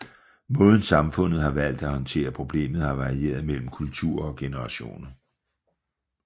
Måden samfundet har valgt at håndtere problemet har varieret mellem kulturer og generationer